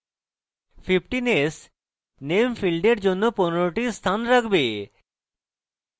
15s name ফীল্ডের জন্য 15s টি স্থান রাখবে